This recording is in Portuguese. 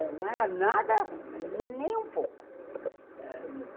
Não era nada ruim, nem um pouco.